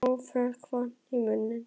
Og Lóa-Lóa fékk vatn í munninn.